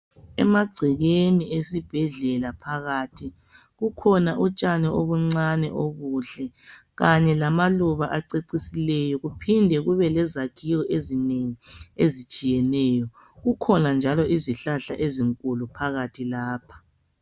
Emagcekeni esibhedlela phakathi kukhona utshani obuncane obuhle kanye lamaluba acecisileyo kuphinde kube lezakhiwo ezinengi ezitshiyeneyo kukhona njalo, izihlahla ezinkulu phakathi lapha.